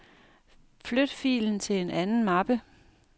Flyt filen til en anden mappe.